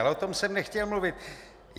Ale o tom jsem nechtěl mluvit.